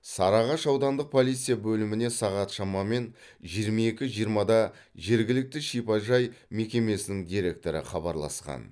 сарыағаш аудандық полиция бөліміне сағат шамамен жиырма екі жиырмада жергілікті шипажай мекемесінің директоры хабарласқан